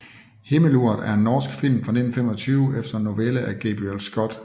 Himmeluret er en norsk film fra 1925 efter en novelle af Gabriel Scott